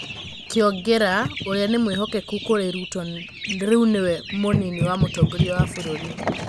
Kiongera ,urĩa nĩ mwĩhokeku kũrĩ Ruto rĩu nĩwe mũnini wa mũtongorĩa wa bũrũri.